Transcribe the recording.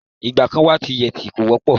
Ìgbà kàn wà tí yẹtí kò wọ́pọ̀.